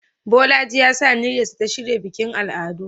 Bolaji ya sa aniyarsa ta shirya bikin al'adu